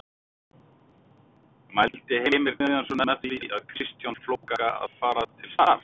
Mældi Heimir Guðjónsson með því fyrir Kristján Flóka að fara til Start?